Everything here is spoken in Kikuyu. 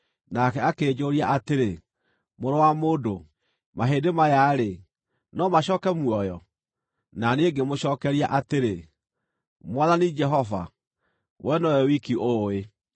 Nake akĩnjũũria atĩrĩ, “Mũrũ wa mũndũ, mahĩndĩ maya-rĩ, no macooke muoyo?” Na niĩ ngĩmũcookeria atĩrĩ, “Mwathani Jehova, wee nowe wiki ũũĩ.”